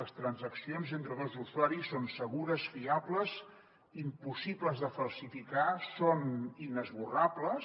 les transaccions entre dos usuaris són segures fiables impossibles de falsificar són inesborrables